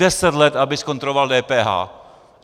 Deset let, aby zkontroloval DPH.